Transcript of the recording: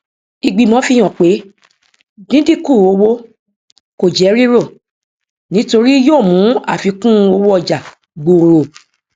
ìgbìmọ fi hàn pé díndínkún owó kò jẹ rírò nítorí yóò mú àfikúnowóọjà gbòòrò